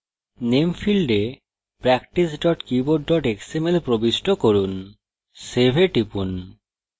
name ফীল্ডে practice keyboard xml প্রবিষ্ট করুন save এ টিপুন